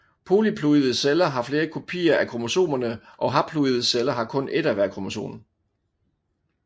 Polyploide celler har flere kopier af kromosomerne og haploide celler har kun et af hvert kromosom